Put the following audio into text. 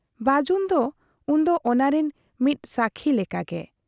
ᱵᱟᱹᱡᱩᱱ ᱫᱚ ᱩᱱᱫᱚ ᱚᱱᱟᱨᱤᱱ ᱢᱤᱫ ᱥᱟᱹᱠᱷᱤ ᱞᱮᱠᱟᱜᱮ ᱾